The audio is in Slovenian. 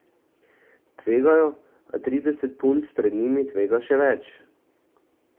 Tvegajo, a trideset punc pred njimi tvega še več.